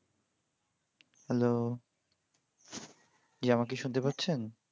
Hello ji আমাকে শুনতে পাচ্ছেন?